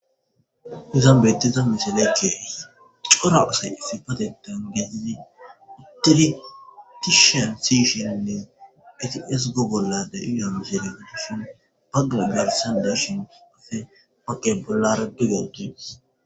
izan betiza misaleykkei cora asay ifi patetan gezidi itertishan sishinnen eti es go golla da iyamserigetishon bagga garsan dashin afe maqe polare digowudis.